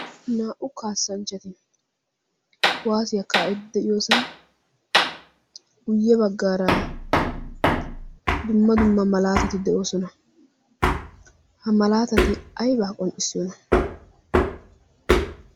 naa"u kaassanchchati kuwaasiyaa kaa'i de'iyoosan guyye baggaara dumma dumma malaatati de'oosona. ha malaatati aibaa qonccissiyoona?